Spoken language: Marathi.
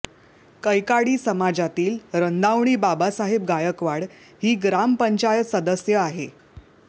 कैकाडी समाजातील रंदावणी बाबासाहेब गायकवाड ही ग्रामपंचायत सदस्य आहेत